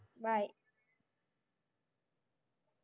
bye